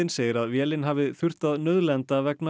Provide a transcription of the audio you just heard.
segir að vélin hafi þurft að nauðlenda vegna